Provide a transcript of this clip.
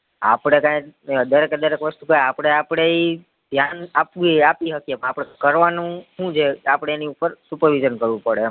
આપડે તો તય દરેક એ દરેક આપડે આપડી ઈ ધ્યાન આપી હકીયે આપને કરવાનું હુ છે આપડે એની ઉપર supervision કરવું પડે એમ